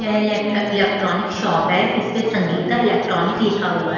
यह electronic shop है इस पे संगीता इलेक्ट्रॉनिक लिखा हुआ है।